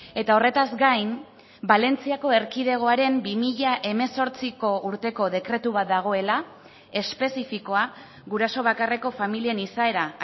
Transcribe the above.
eta horretaz gain balentziako erkidegoaren bi mila hemezortziko urteko dekretu bat dagoela espezifikoa guraso bakarreko familien izaera